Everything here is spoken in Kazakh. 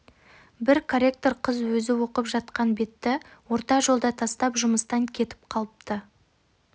бір корректор қыз өзі оқып жатқан бетті орта жолда тастап жұмыстан кетіп қалыпты